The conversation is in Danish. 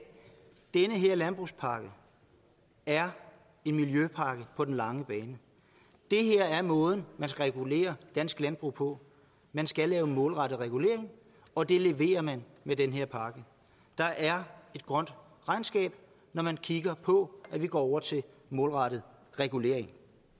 den her landbrugspakke er en miljøpakke på den lange bane det her er måden man skal regulere dansk landbrug på man skal lave målrettet regulering og det leverer man med den her pakke der er et grønt regnskab når man kigger på at vi går over til målrettet regulering